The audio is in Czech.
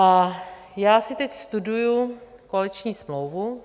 A já si teď studuji koaliční smlouvu.